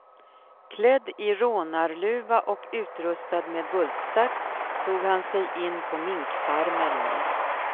Klädd i rånarluva och utrustad med bultsax tog han sig in på minkfarmerna.